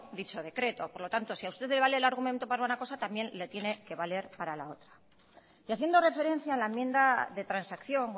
dicho decreto por lo tanto si a usted le vale el argumento para una cosa también le tiene que valer para otra y haciendo referencia a la enmienda de transacción